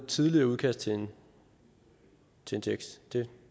tidligere udkast til en tekst det